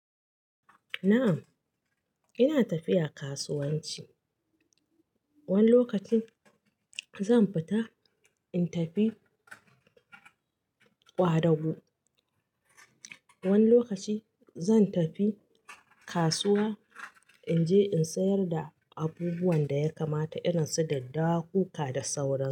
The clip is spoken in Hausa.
Um ina tafiya kasuwanci. Wani lokacin zan fita in tafi ƙwadago. Wani lokacin zan tafi kasuwa in je in sayar da abubuwan da ya kamata irin su daddawa, kuka da sauran su.